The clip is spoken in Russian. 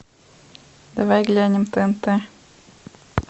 давай глянем тнт